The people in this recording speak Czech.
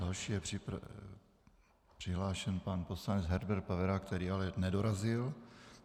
Další je přihlášen pan poslanec Herbert Pavera, který ale nedorazil.